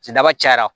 Cidaba cayara